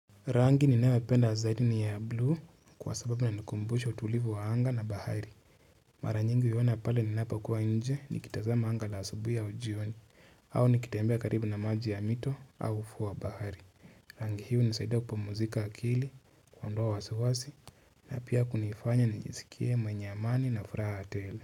Rangi ninayoipenda zaidi ni ya blue kwa sababu inanikumbusha utulivu wa anga na bahari mara nyingi huiona pale ninapokuwa nje nikitazama anga la asubuhi au jioni au nikitembea karibu na maji ya mito au ufuo wa bahari rangi hii hunisaidia kupumzika akili, kuondoa wasiwasi na pia kunifanya nijizikie mwenye amani na furaha tele.